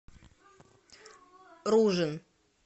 ружин